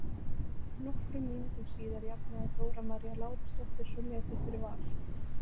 Nokkrum mínútum síðar jafnaði Dóra María Lárusdóttir svo metin fyrir Val.